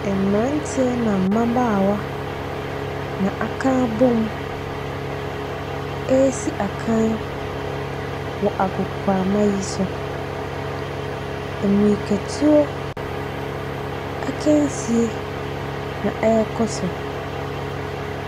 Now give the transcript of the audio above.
Mmranteɛ na mmabaawa na akabom ɛresi akan wɔ agoprama yi so. Mirikatuo akansie na ɛrekɔ so.